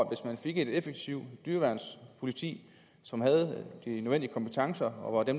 hvis man fik et effektivt dyreværnspoliti som havde de nødvendige kompetencer og hvor det